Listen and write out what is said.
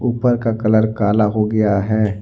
ऊपर का कलर काला हो गया है।